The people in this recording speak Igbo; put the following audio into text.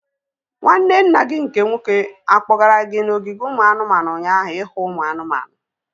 Nwanne nna gị nke nwoke akpọgara gị n'ogige ụmụ anụmanụ ụnyaahụ ihu ụmụ anụmanụ?